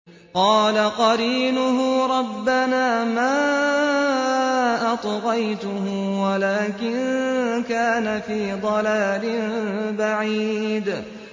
۞ قَالَ قَرِينُهُ رَبَّنَا مَا أَطْغَيْتُهُ وَلَٰكِن كَانَ فِي ضَلَالٍ بَعِيدٍ